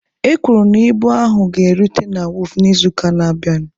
E kwuru na ibu ahụ ga-erute na wọọfụ n'izuụka na-abịanụ.